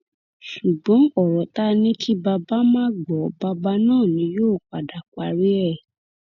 ṣùgbọn ọrọ tá a ní kí bàbá má gbọ bàbá náà ni yóò padà parí ẹ